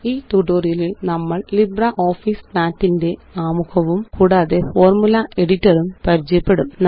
ഈ ട്യൂട്ടോറിയലില് നമ്മള് ലിബ്രിയോഫീസ് മാത്ത് ന്റെ ആമുഖവും കൂടാതെ ഫോര്മുല എഡിറ്ററും പരിചയപ്പെടും